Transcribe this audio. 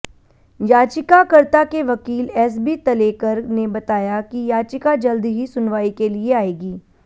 याचिकाकर्ता के वकील एसबी तलेकर ने बताया कि याचिका जल्द ही सुनवाई के लिए आएगी